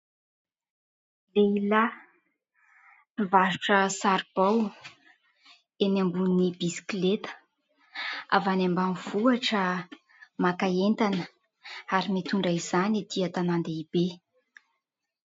Lehilahy mpivarotra saribao, eny ambony bisikileta. Avy any ambanivohitra, maka entana, ary mitondra izany aty an-tanàn-dehibe.